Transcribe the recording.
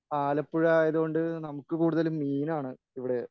ആലപ്പുഴ ആയതുകൊണ്ട് നമുക്ക് കൂടുതലും മീനാണ് ഇവിടെ